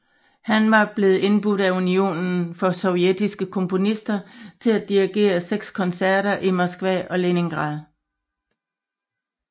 Han var blevet indbudt af Unionen for Sovjetiske Komponister til at dirigere seks koncerter i Moskva og Leningrad